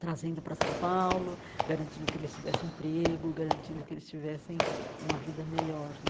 trazendo para São Paulo, garantindo que eles tivessem emprego, garantindo que eles tivessem uma vida melhor.